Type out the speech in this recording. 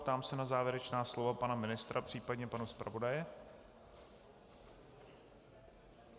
Ptám se na závěrečná slova pana ministra, případně pana zpravodaje.